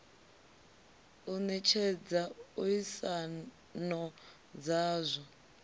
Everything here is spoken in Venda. u netshedza a isano dzazwo